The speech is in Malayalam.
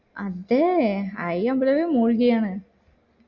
അത് ഐ അമ്പല എല്ലോ മുഴുകി ആണ്